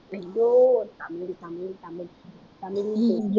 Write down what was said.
ஐயோ தமிழ் தமிழ் தமிழ் தமிழ்